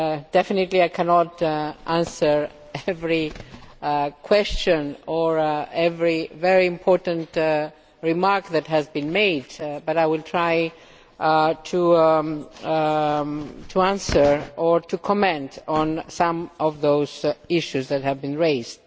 Definitely I cannot answer every question or every very important remark that has been made, but I will try to answer or to comment on some of those issues that have been raised.